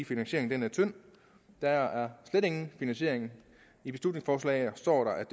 finansieringen er tynd der er slet ingen finansiering i beslutningsforslaget står der at